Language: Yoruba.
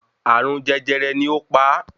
Àrùn jẹjẹrẹ ni ó pa á